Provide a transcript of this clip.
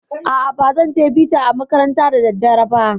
A'a, bazan je bita a makaranta da daddare ba.